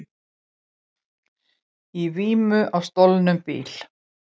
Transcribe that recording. Í vímu á stolnum bíl